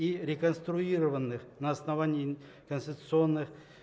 и реконструированных на основании конституционных